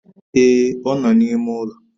Ee, ọ nọ na-ime ụlọ